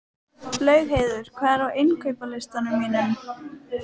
Laugheiður, hvað er á innkaupalistanum mínum?